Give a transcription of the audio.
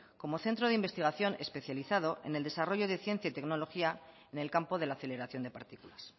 como centro de investigación especializado en el desarrollo de ciencia y tecnología en el campo de la aceleración de partículas